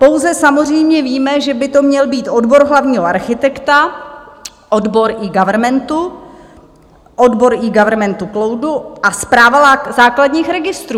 Pouze samozřejmě víme, že by to měl být odbor hlavního architekta, odbor eGovernmentu, odbor eGovernmentu cloudu a Správa základních registrů.